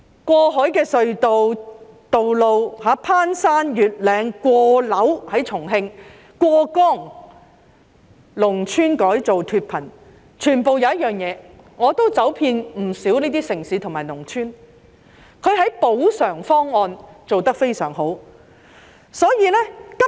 過海隧道、攀山越嶺、過樓——在重慶——過江的道路、農村改造脫貧，我走遍不少這些城市及農村，他們的補償方案做得非常好。